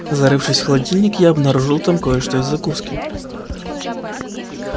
зарывшись в холодильник я обнаружил там кое-что из закуски